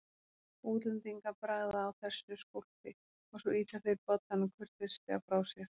Útlendingar bragða á þessu skólpi og svo ýta þeir bollanum kurteislega frá sér.